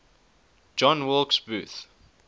john wilkes booth